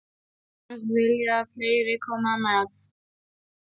Annars vilja fleiri koma með.